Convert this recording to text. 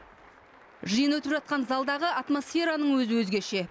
жиын өтіп жатқан залдағы атмосфераның өзі өзгеше